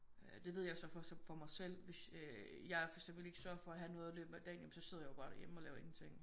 Øh det ved jeg jo så så for mig selv hvis øh jeg for eksempel ikke sørger for at have noget i løbet af dagen ja men så sidder jeg jo bare derhjemme og laver ingenting